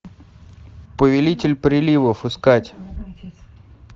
повелитель приливов искать